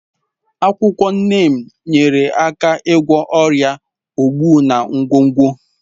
Akwụkwọ Neem nyeere aka ịgwọ ọrịa ogbu na nkwonkwo.